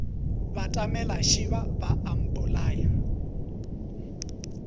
batamela šeba ba a mpolaya